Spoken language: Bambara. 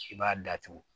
I b'a datugu